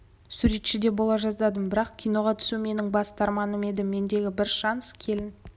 суретші де бола жаздадым бірақ киноға түсу менің басты арманым еді мендегі бір шанс келін